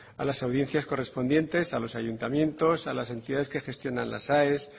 a las audiencias correspondientes a los ayuntamientos a las entidades que gestionan las aes